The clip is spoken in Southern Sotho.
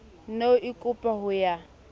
ne o ikopa ho ya